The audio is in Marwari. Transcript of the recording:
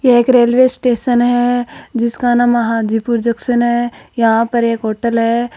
यह एक रेलवे स्टेशन है जिसका नाम महाजीपुर जंक्शन है यहां पर एक होटल है।